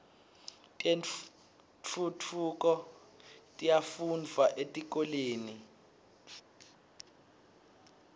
tentfutfuko tiyafundvwa etikolweni